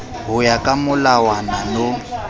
ho ya ka molawana no